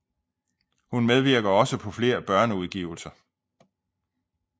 Hun medvirker også på flere børneudgivelser